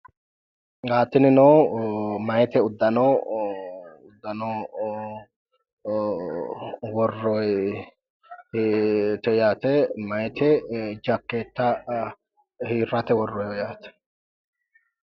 Tinino meyate uddano worroyite yatte. Meyate jakkeetta hirate worroyiho yaate.